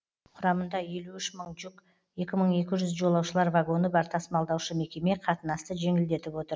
құрамында елу үш мың жүк екі мың екі жүз жолаушылар вагоны бар тасымалдаушы мекеме қатынасты жеңілдетіп отыр